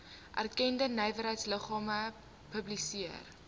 erkende nywerheidsliggame publiseer